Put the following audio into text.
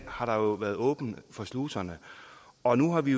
har der jo været åbnet for sluserne og nu har vi